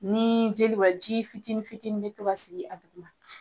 Nii jeli b'a jii fitini fitinin be to ka sigi a duguma